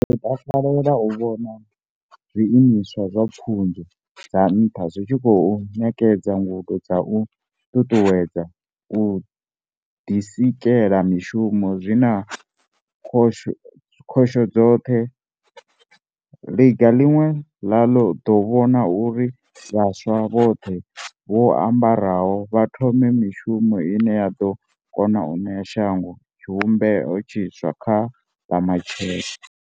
Ri ḓo takalela u vhona zwii miswa zwa pfunzo dza nṱha zwi tshi khou ṋekedza ngudo dza u ṱuṱuwedza u ḓisike la mishumo zwi na khoso dzoṱhe, ḽiga ḽine ḽa ḓo vhona uri vhaswa vhoṱhe vho a mbaraho vha thome mishumo ine ya ḓo kona u ṋea shango tshivhumbeo tshiswa kha ḽa matshelo.